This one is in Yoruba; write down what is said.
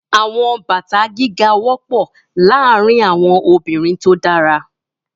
Àwọn bàtà gíga wọ́pọ̀ láàárín àwọn obìnrin tó dára.